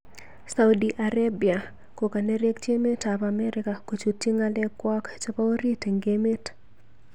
Saudi Arabia kokanerekyi emet ab Amerika kochutyi ngalek kwaak chebo orit eng emet